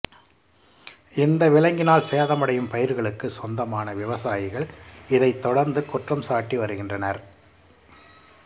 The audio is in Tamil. இந்த விலங்கினால் சேதமடையும் பயிர்களுக்கு சொந்தமான விவசாயிகள் இதைத் தொடர்ந்து குற்றம்சாட்டி வருகின்றனர்